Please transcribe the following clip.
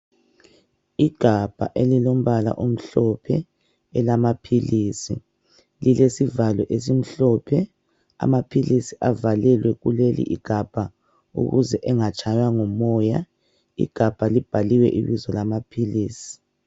Igabha elilombala omhlophe elamaphilisi lilesivalo esimhlophe. Amaphilisi avalelwe kuleligabha ukuze engatshaywa ngumoya. Igabha libhaliwe ibizo lamaphilisi.